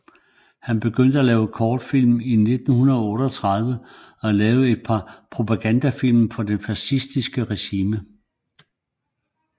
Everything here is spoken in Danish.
Han begyndte at lave kortfilm i 1938 og lavede et par propagandafilm for det fascistiske regime